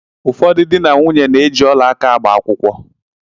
Ụfọdụ dị na nwunye na-eji ọla áká agba akwụkwọ.